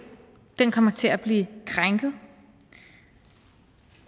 kommer til at blive krænket og